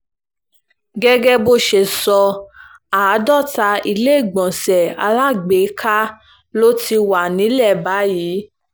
gẹ́gẹ́ bó ṣe sọ àádọ́ta iléegbọnṣe alágbèéká ló ti wà nílẹ̀ báyìí